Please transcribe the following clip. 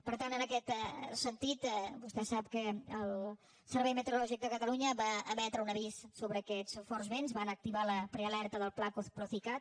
per tant en aquest sentit vostè sap que el servei meteo· rològic de catalunya va emetre un avís sobre aquests forts vents van activar la prealerta del pla procicat